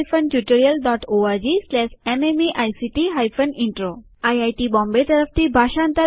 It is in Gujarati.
httpspoken tutorialorgNMEICT Intro